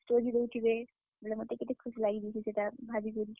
Story ଦେଉଥିବେ ବେଲେ ମତେ କେତେ ଖୁସ ଲାଗିଯାଉଛେ ସେଟା ଭାବି କରି।